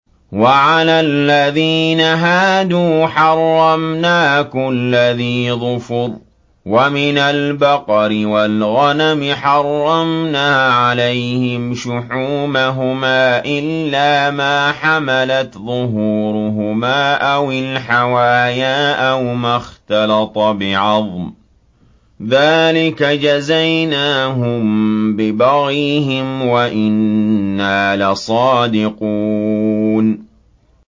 وَعَلَى الَّذِينَ هَادُوا حَرَّمْنَا كُلَّ ذِي ظُفُرٍ ۖ وَمِنَ الْبَقَرِ وَالْغَنَمِ حَرَّمْنَا عَلَيْهِمْ شُحُومَهُمَا إِلَّا مَا حَمَلَتْ ظُهُورُهُمَا أَوِ الْحَوَايَا أَوْ مَا اخْتَلَطَ بِعَظْمٍ ۚ ذَٰلِكَ جَزَيْنَاهُم بِبَغْيِهِمْ ۖ وَإِنَّا لَصَادِقُونَ